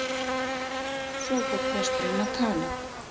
Svo fór presturinn að tala.